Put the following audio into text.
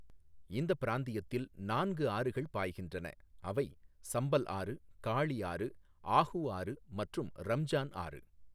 இந்தப் பிராந்தியத்தில் நான்கு ஆறுகள் பாய்கின்றன, அவை சம்பல் ஆறு, காளி ஆறு, ஆஹூ ஆறு மற்றும் ரம்ஜான் ஆறு.